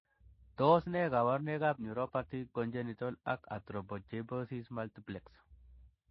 Tos nee koborunoikab Neuropathy, congenital, ak arthrogryposis multiplex?